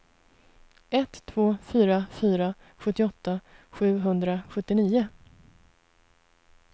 ett två fyra fyra sjuttioåtta sjuhundrasjuttionio